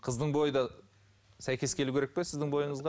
қыздың бойы да сәйкес келуі керек пе сіздің бойыңызға